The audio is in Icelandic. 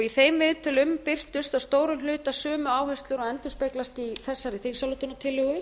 í þeim viðtölum birtust að stórum hluta sömu áherslur og endurspeglast í þessari þingsályktunartillögu